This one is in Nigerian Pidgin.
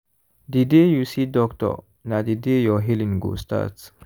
the day you see doctor na the day your healing go start.